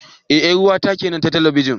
Eh 'yar uwata kenan a talabijin.